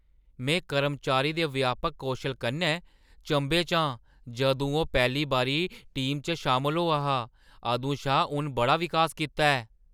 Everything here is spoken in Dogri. में कर्मचारी दे व्यापक कौशल कन्नै चंभे च आं- जदूं ओह् पैह्‌ली बारी टीम च शामल होआ हा अदूं शा उन बड़ा विकास कीता ऐ।